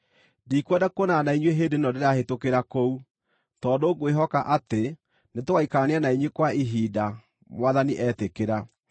Ndikwenda kuonana na inyuĩ hĩndĩ ĩno ndĩrahĩtũkĩra kũu, tondũ ngwĩhoka atĩ nĩtũgaikarania na inyuĩ kwa ihinda, Mwathani etĩkĩra.